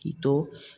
K'i to